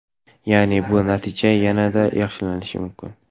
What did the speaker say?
Ya’ni bu natijani yanada yaxshilashi mumkin.